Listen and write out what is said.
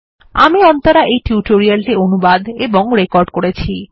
আমি অন্তরা এই টিউটোরিয়াল টি অনুবাদ এবং রেকর্ড করেছি